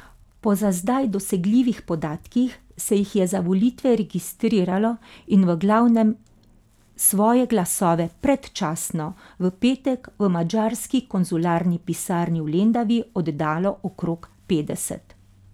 Po za zdaj dosegljivih podatkih se jih je za volitve registriralo in v glavnem svoje glasove predčasno v petek v madžarski konzularni pisarni v Lendavi oddalo okrog petdeset.